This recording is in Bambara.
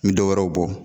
N bɛ dɔwɛrɛw bɔ